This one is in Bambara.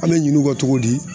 An mɛ ɲin'u kɔ cogo di